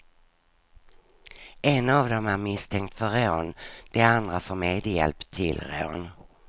En av dem är misstänkt för rån, de andra för medhjälp till rån.